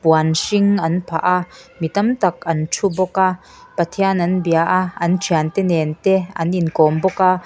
puan hring an phah a mi tam tam an thu bawk a pathian an bia a an thiante nen te an inkawm bawk a.